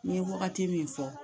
Ne ye wagati min fɔ